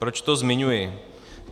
Proč to zmiňuji?